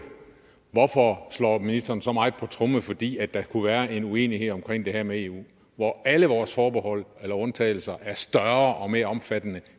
hvorfor slår ministeren så meget på tromme fordi der kunne være en uenighed omkring det her med eu hvor alle vores forbehold eller undtagelser er større og mere omfattende